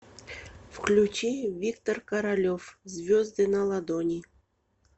включи виктор королев звезды на ладони